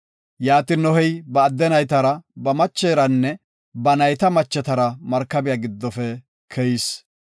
Yaatin Nohey ba adde naytara, ba macheranne ba nayta machetara markabiya giddofe keyis.